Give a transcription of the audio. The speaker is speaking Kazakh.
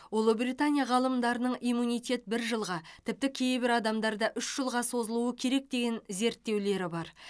ұлыбритания ғалымдарының иммунитет бір жылға тіпті кейбір адамдарда үш жылға созылуы керек деген зерттеулері бар